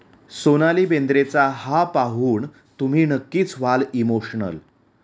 सोनाली बेंद्रेचा हा पाहून तुम्ही नक्कीच व्हाल इमोशनल